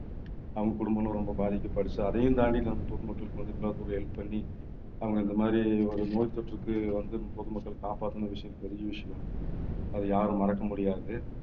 அவங்க குடும்பமும் ரொம்ப பாதிக்கப்பட்டுச்சு. அதையும் தாண்டி நம்ம பொதுமக்களுக்கு வந்து இவ்வளவு தூரம் help பண்ணி அவங்க இந்த மாதிரி ஒரு நோய் தொற்றுக்கு வந்து பொதுமக்கள் காப்பாத்தின விஷயம் தெரிஞ்ச விஷயம். அதை யாரும் மறக்க முடியாது